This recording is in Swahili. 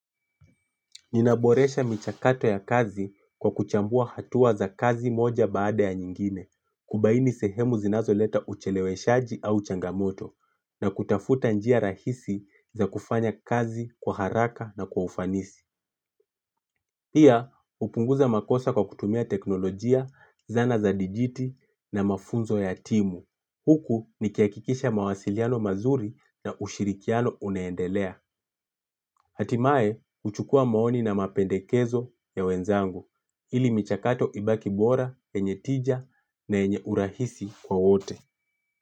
Ninaboresha michakato ya kazi kwa kuchambua hatua za kazi moja baada ya nyingine, kubaini sehemu zinazo leta ucheleweshaji au changamoto, na kutafuta njia rahisi za kufanya kazi kwa haraka na kwa ufanisi. Pia hupunguza makosa kwa kutumia teknolojia, zana za dijiti na mafunzo ya timu. Huku nikihakikisha mawasiliano mazuri na ushirikiano unaendelea. Hatimaye, huchukua maoni na mapendekezo ya wenzangu. Ili michakato ibaki bora, yenye tija na yenye urahisi kwa wote.